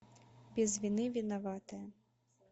без вины виноватая